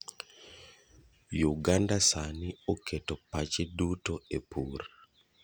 Uganda sani oketo pache duto e pur